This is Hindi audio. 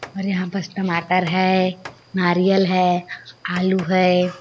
और यहाँ पस टमाटर है नारियल है आलू है।